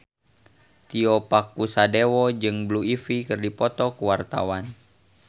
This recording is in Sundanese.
Tio Pakusadewo jeung Blue Ivy keur dipoto ku wartawan